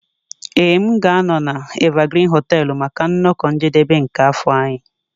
Ee m ga-anọ na Evergreen hoteelu maka nnọkọ njedebe nke afọ anyị.